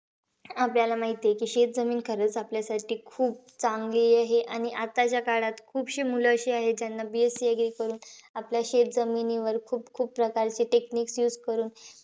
आपल्याला माहितीयं की, शेतजमीन खरंच आपल्यासाठी खूप चांगली आहे. आणि आताच्या काळात खूपशी मुलं अशी आहे ज्यांना BSC agree करून. आपल्या शेतजमिनीवर खूप-खूप प्रकारचे techniques use करून,